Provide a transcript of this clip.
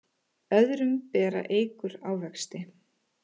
Öðrum bera eikur ávexti.